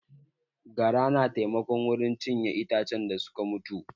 Gara na taimako wurin cinye itacen da suka mutu